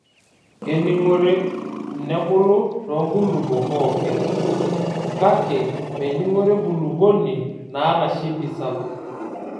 Kening'ore nebulu too nkulupuo pooki. Kake mening'ore enkulupuoni naata shimpi sapuk.